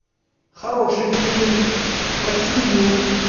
хороший фильм про семью